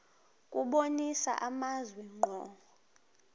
kubonisa amazwi ngqo